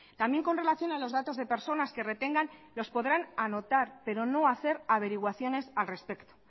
también con relación a los datos de personas que retengan los podrán anotar pero no hacer averiguaciones al respecto